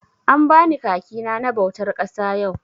An bani kaki na na bautar ƙasa yau.